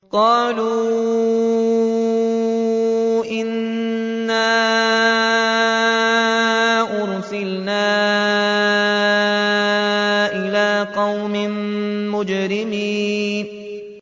قَالُوا إِنَّا أُرْسِلْنَا إِلَىٰ قَوْمٍ مُّجْرِمِينَ